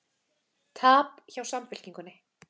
Tap hjá Samfylkingunni